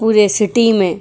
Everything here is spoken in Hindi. पुरे सिटी में --